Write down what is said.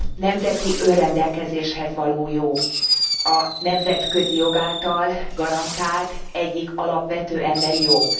nemzeti önrendelkezéshez való jog a nemzetközi jog által garantált egyik alapvető emberi jog.